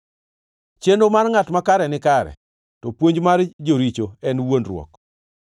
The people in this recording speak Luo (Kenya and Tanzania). Chenro mar ngʼat makare nikare, to puonj mar joricho en wuondruok.